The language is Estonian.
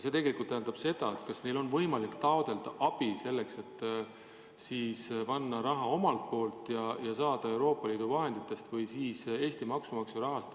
See tegelikult tähendab küsimust, kas neil on võimalik selleks abi taotleda, et siis panna raha mängu omalt poolt ja saada ka Euroopa Liidu vahenditest või siis Eesti maksumaksja rahast.